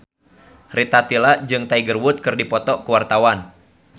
Rita Tila jeung Tiger Wood keur dipoto ku wartawan